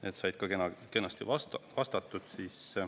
Need said ka kenasti vastatud.